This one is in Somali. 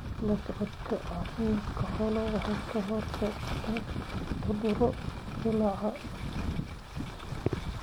La socodka caafimaadka xoolaha waxa ay ka hortagtaa cudurro dillaaca.